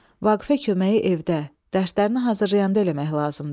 Vaqifə köməyi evdə, dərslərini hazırlayanda eləmək lazımdır.